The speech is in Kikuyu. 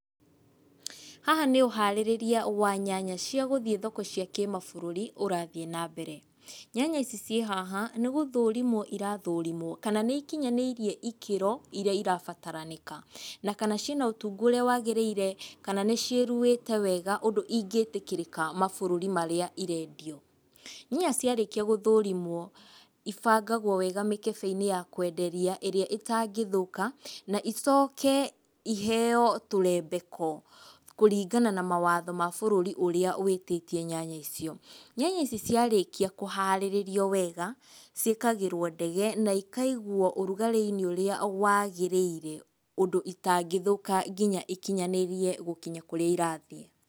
Haha nĩ ũharĩrĩria wa nyanya cia gũthiĩ thoko cia kĩmabũrũri ũrathiĩ nambere. Nyanya ici ciĩhaha nĩ gũthũrimwo irathũrimwo kana nĩ ikinyanĩirie ikĩro iria irabataranĩka, kana ciĩna ũtungu ũrĩa wagĩrĩire, kana nĩciĩruĩte wega ũndũ ingĩtĩkĩrĩka mabũrũri marĩa irendio. Nyanya ciarĩkia gũthũrimwo ibangagwo wega mĩkebe-inĩ ya kwenderia ĩrĩa itangĩthũka na icoke iheywo tũrembeko kũringana na mawatho ma bũrũri ũrĩa wĩtĩtie nyanya icio. Nyanya ici ciarĩkia kũharĩrĩrio wega, ciĩkagĩrwo ndege na ikaigwo ũrugarĩ-inĩ ũrĩa wagĩrĩire ũndũ itangĩthũka nginya ikinyanĩrie gũkinya kũrĩa irathiĩ.